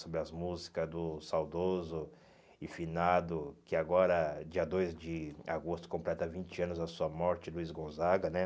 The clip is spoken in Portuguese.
Sobre as músicas do Saudoso e Finado, que agora, dia dois de agosto, completa vinte anos da sua morte, Luiz Gonzaga, né?